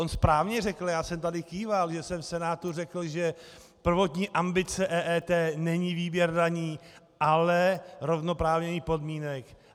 On správně řekl - já jsem tady kýval, že jsem v Senátu řekl, že prvotní ambice EET není výběr daní, ale zrovnoprávnění podmínek.